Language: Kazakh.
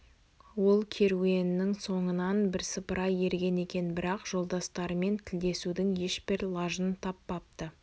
ол керуеннің соңынан бірсыпыра ерген екен бірақ жолдастарымен тілдесудің ешбір лажын таппапты